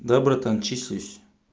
да братан числюсь